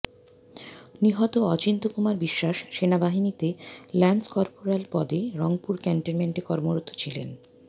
নিহত অচিন্ত্য কুমার বিশ্বাস সেনাবাহিনীতে lance corporal পদে রংপুর ক্যান্টনমেন্টে কর্মরত ছিলেন